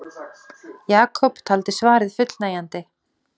Jakob taldi svarið fullnægjandi.